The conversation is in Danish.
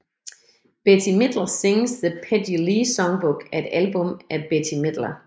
Bette Midler Sings the Peggy Lee Songbook er et album af Bette Midler